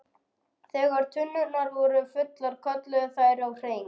Þegar tunnurnar voru fullar kölluðu þær á HRING!